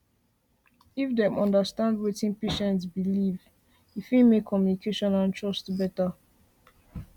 if dem understand wetin patient believe e patient believe e fit make communication and trust better